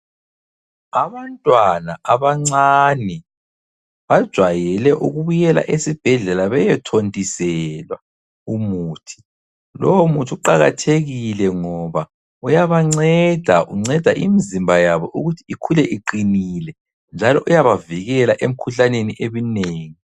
Abantwana abancane bajwayele ukubuyela esibhedlela beyothontiselwa umuthi. Lowo muthi uqakathekile ngoba uyabanceda, unceda imizimba yabo ukuthi ikhule iqinile njalo uyabavikela emkhuhlaneni eminengi.